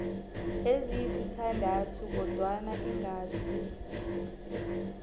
ezisithandathu kodwana ingasi